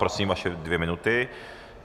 Prosím, vaše dvě minuty.